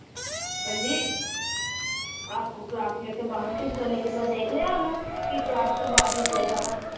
ਕਹਿੰਦੀ ਆਪਕੋ ਕਲਾਸ ਮੈ ਸੇ ਬਾਹਰ ਸੇ ਦੇਖ ਲਿਆ ਓਹਨੂੰ, ਕੀ ਕਲਾਸ ਤੋਂ ਬਾਹਰ ਨਿਕਲੇਗਾ ਵਾ